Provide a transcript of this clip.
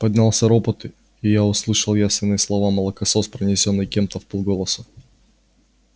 поднялся ропот и я услышал явственно слово молокосос произнесённое кем-то вполголоса